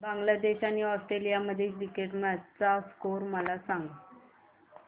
बांगलादेश आणि ऑस्ट्रेलिया मधील cricket match चा स्कोअर मला सांगा